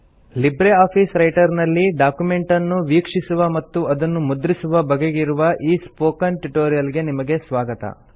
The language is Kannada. ಲಿಬ್ರೆ ಆಫೀಸ್ ರೈಟರ್ ನಲ್ಲಿ ಡಾಕ್ಯುಮೆಂಟ್ ಅನ್ನು ವೀಕ್ಷಿಸುವ ಮತ್ತು ಅದನ್ನು ಮುದ್ರಿಸುವ ಬಗೆಗಿರುವ ಈ ಸ್ಪೋಕನ್ ಟ್ಯುಟೋರಿಯಲ್ ಗೆ ನಿಮಗೆ ಸ್ವಾಗತ